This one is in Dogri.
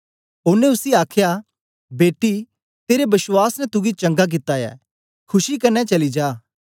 ओनें उसी आखया बेटी तेरे बश्वास ने तुगी चंगा कित्ता ऐ खुशी कन्ने चली जा